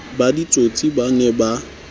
ba ditsotsi ba ne ba